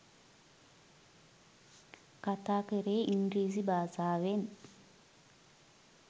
කතා කළේ ඉංග්‍රීසි භාෂාවෙන්.